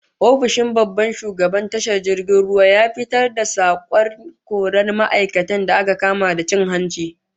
Ofishin babban shugaban tashar jirgin ruwan ya fitar da sanarwar korar ma'aikatan da aka kama da cin hanci